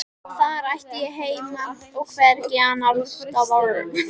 Þar ætti ég heima og hvergi annarstaðar.